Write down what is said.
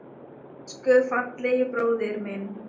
Elsku fallegi bróðir minn.